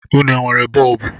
Ụnụ nwere bọọbụ?